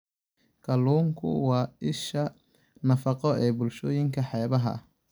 Kalluunku waa isha nafaqo ee bulshooyinka xeebaha ah.